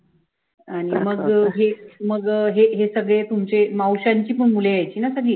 आणि मग हे मग हे हे सगळे तुमचे मावश्यांची पण मुलं यायची ना सगळी